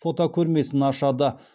фотокөрмесін ашады